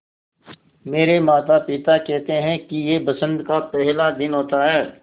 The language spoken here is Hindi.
मेरे माता पिता केहेते है कि यह बसंत का पेहला दिन होता हैँ